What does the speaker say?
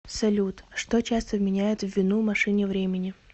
салют что часто вменяют в вину машине времени